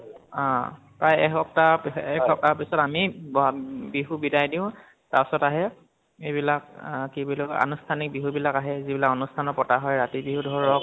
অ প্ৰায় এসপ্তাহ এ এসপ্তাহ পিছত আমি বহাগ বিহুক বিদায় দিওঁ। তাৰ পিছত আহে এইবিলাক অহ কি বুলি কয় আনুষ্ঠানিক বিহু বিলাক আহে যিবিলাক আনুষ্ঠানত পতা হয় ৰাতি বিহু ধৰক